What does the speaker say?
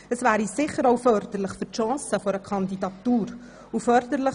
Das wäre uns auch wichtig, und es würde sicher auch die Chancen einer Kandidatur fördern.